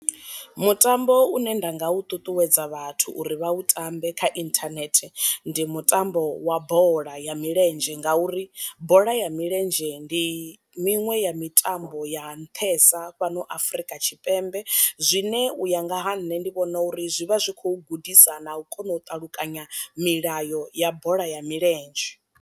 Mutambo une nda nga u ṱuṱuwedza vhathu uri vha u tambe kha inthanethe ndi mutambo wa bola ya milenzhe, ngauri bola ya milenzhe ndi miṅwe ya mitambo ya nṱhesa fhano afrika tshipembe zwine u ya nga ha nṋe ndi vhona uri zwi vha zwi khou gudisa na u kona u ṱalukanya milayo ya bola ya milenzhe.